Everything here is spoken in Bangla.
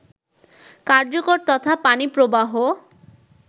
কার্যকর তথা পানি প্রবাহ